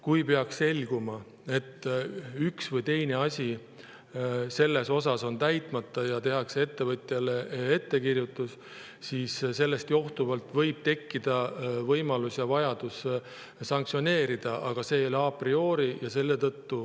Kui peaks selguma, et üks või teine asi on täitmata, ja tehakse ettevõtjale ettekirjutus, siis sellest johtuvalt võib tekkida võimalus ja vajadus sanktsioneerida, aga see ei ole a priori.